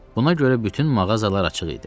Buna görə bütün mağazalar açıq idi.